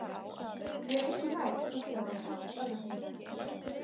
Ég er engu nær, hugsaði hún full örvæntingar.